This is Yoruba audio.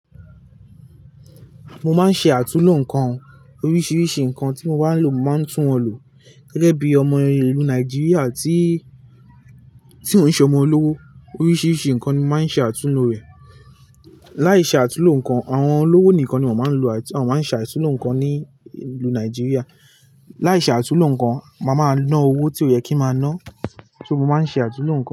Mo máa ń ṣe àtúnlo ǹkan, oríṣiríṣi nkan tí mo bá n lò mo máa ń tún won lọ. Gẹ́gẹ́ bí ọmọ ìlú Nàìjíríà tí, tí ò ń ṣe ọmọ olówó, oríṣiríṣi ǹkan ni mo máa ń ṣe àtúnlo rẹ̀. Láìṣe àtúnlo ǹkan, àwọn olówó nìkan ni wọ́n máa ń lo àt wọ́n máa ń ṣe àtúnlo ǹkan ní ìlú Nàìjíríà. Láìṣe àtúnlo ǹkan, màá máa ná owó tí ò yẹ kí n màá ná. So mo máa ń ṣe àtúnlo nkan.